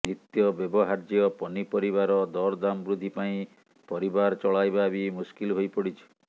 ନିତ୍ୟ ବ୍ୟବହାର୍ଯ୍ୟ ପନି ପରିବାର ଦରଦାମ ବୃଦ୍ଧି ପାଇଁ ପରିବାର ଚଳାଇବା ବି ମୁସ୍କିଲ ହୋଇପଡ଼ିଛି